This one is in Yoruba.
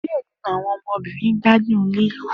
Diẹ ninu awọn ọmọbirin gbadun ni lilu